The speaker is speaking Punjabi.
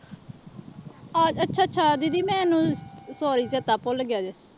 ਅੱਛਾ ਅੱਛਾ ਦੀਦੀ ਮੈਨੂੰ sorry ਚੇਤਾ ਭੁੱਲ ਗਿਆ ਸੀ।